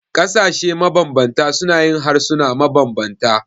Ƙasashe mabanbanta suna yin harsuna mabanbanta.